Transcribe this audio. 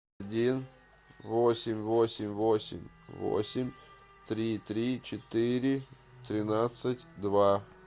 один восемь восемь восемь восемь три три четыре тринадцать два